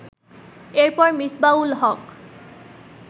এর পর মিসবাহ-উল হক